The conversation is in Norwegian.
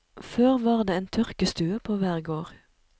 Før var det en tørkestue på hver gård.